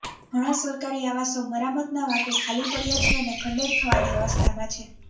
ઘણાં સરકારી આવાસો મરામતના વાંકે ખાલી પડયા છે અને ખંડેર થવાની અવસ્થામાં છે